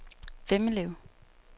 Vemmelev